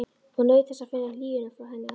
Og naut þess að finna hlýjuna frá henni allri.